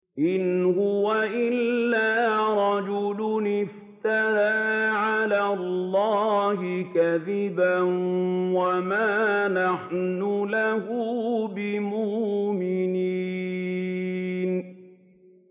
إِنْ هُوَ إِلَّا رَجُلٌ افْتَرَىٰ عَلَى اللَّهِ كَذِبًا وَمَا نَحْنُ لَهُ بِمُؤْمِنِينَ